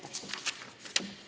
Aitäh!